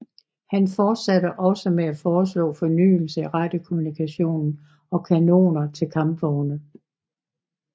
Han fortsatte også med at foreslå fornyelser i radiokommunikation og kanoner til kampvogne